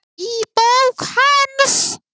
Í bók hans